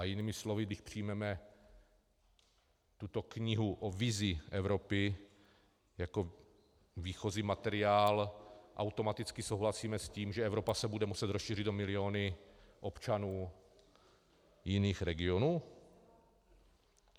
A jinými slovy, když přijmeme tuto knihu o vizi Evropy jako výchozí materiál, automaticky souhlasíme s tím, že Evropa se bude muset rozšířit o miliony občanů jiných regionů?